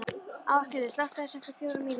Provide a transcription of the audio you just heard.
Ásgerður, slökktu á þessu eftir fjórar mínútur.